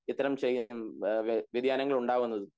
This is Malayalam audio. ഇത്തരം ചെയ്യാം വെധ്യയാനങ്ങൾ ഉണ്ടാവുന്നത്